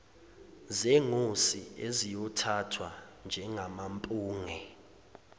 zengosi eziyothathwa njengamampunge